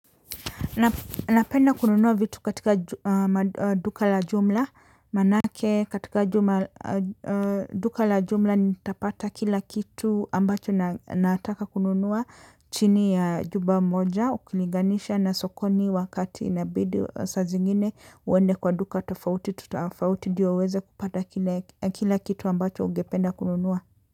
Napenda kununua vitu katika duka la jumla manake katika duka la jumla nitapata kila kitu ambacho nataka kununua chini ya jumba moja ukuliganisha na sokoni wakati inabidi sa zingine uwende kwa duka tofauti tofauti ndiyo uweze kupata kila kitu ambacho ungependa kununua.